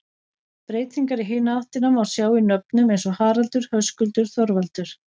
Breytingar í hina áttina má sjá í nöfnum eins og Haraldur, Höskuldur, Þorvaldur.